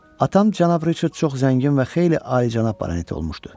Atam cənab Riçard çox zəngin və xeyli alicənab baranet olmuşdu.